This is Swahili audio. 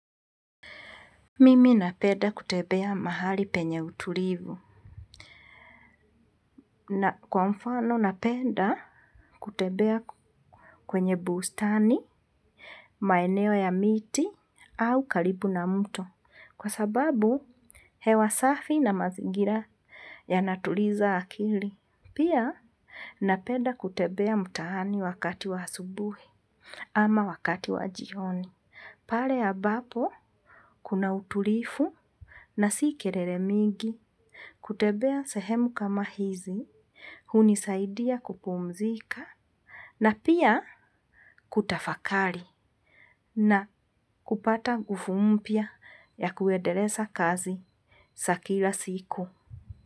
Mimi napenda kutembea mahali penye utulivu na kwa mfano naapenda kutembea kwenye bustani, maeneo ya miti au karibu na mto kwa sababu hewa safi na mazingira yanatuliza akili. Pia napenda kutembea mtaani wakati wa asubuhi ama wakati wa jioni. Pale ambapo kuna utulivu na si kelele mingi. Kutembea sehemu kama hizi, hunisaidia kupumzika na pia kutafakari na kupata nguvu mpya ya kuendeleza kazi za kila siku.